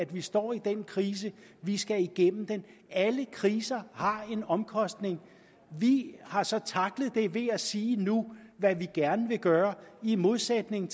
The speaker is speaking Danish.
vi står i den krise vi skal igennem den alle kriser har en omkostning vi har så tacklet det ved at sige nu hvad vi gerne vil gøre i modsætning